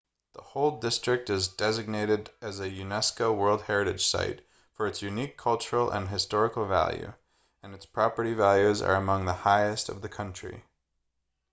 the whole district is designated as a unesco world heritage site for its unique cultural and historical value and its property values are among the highest of the country